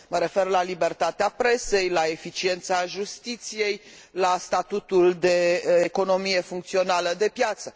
mă refer la libertatea presei, la eficiența justiției, la statutul de economie funcțională de piață.